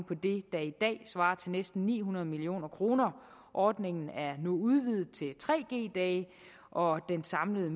på det der i dag svarer til næsten ni hundrede million kroner ordningen er nu udvidet til tre g dage og den samlede